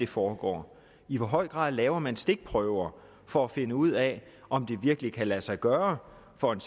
foregår i hvor høj grad laver man stikprøver for at finde ud af om det virkelig kan lade sig gøre for en